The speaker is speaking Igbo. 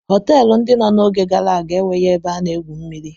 Họtelụ ndị no n'oge gara aga enweghị ebe a na-egwu mmiri.